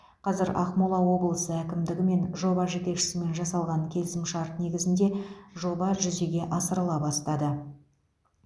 қазір ақмола облысы әкімдігі мен жоба жетекшісімен жасалған келісімшарт негізінде жоба жүзеге асырыла бастады